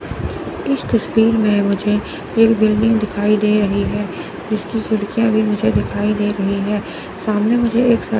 इस तस्वीर में मुझे एक बिल्डिंग दिखाई दे रही है इसकी खिड़कियां भी मुझे दिखाई दे रही है सामने मुझे एक साथ--